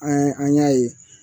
An an y'a ye